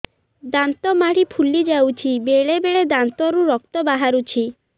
ଦାନ୍ତ ମାଢ଼ି ଫୁଲି ଯାଉଛି ବେଳେବେଳେ ଦାନ୍ତରୁ ରକ୍ତ ବାହାରୁଛି